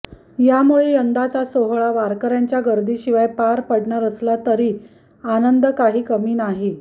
यामुळे यंदाचा सोहळा वारकऱ्यांच्या गर्दीशिवाय पार पडणार असला तरी आनंद काही कमी नाही